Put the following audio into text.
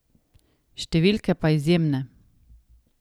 Številke pa izjemne ...